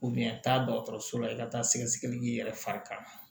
taa dɔgɔtɔrɔso la i ka taa sɛgɛsɛgɛli yɛrɛ fari ka